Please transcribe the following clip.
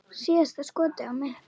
Síðasta skotið á mig.